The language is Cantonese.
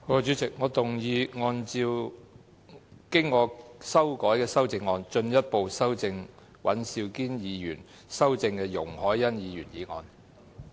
主席，我動議按照我經修改的修正案，進一步修正經尹兆堅議員修正的容海恩議員議案。